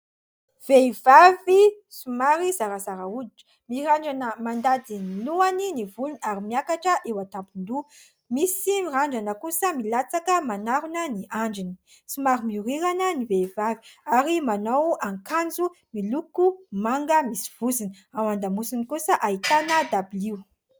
Vehivavy somary zarazara hoditra, mirandrana mandady ny lohany, ny volony ary miakatra eo an-tampon-doha ; misy mirandrana kosa milatsaka manarona ny andriny. Somary miorirana ny vehivavy ary manao akanjo miloko manga misy vozony. Ao an-damosiny kosa ahitana dabilio.